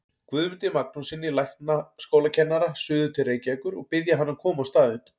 Guðmundi Magnússyni læknaskólakennara suður til Reykjavíkur og biðja hann að koma á staðinn.